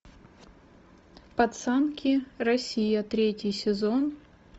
пацанки россия третий сезон